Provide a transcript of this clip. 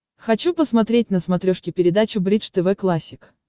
хочу посмотреть на смотрешке передачу бридж тв классик